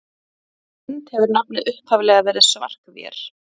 Samkvæmt Lind hefur nafnið upphaflega verið Svark-vér.